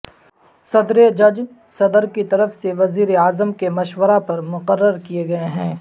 صدر جج صدر کی طرف سے وزیر اعظم کے مشورہ پر مقرر کئے گئے ہیں